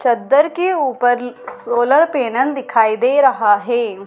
चद्दर के ऊपर सोलर पैनल दिखाई दे रहा है।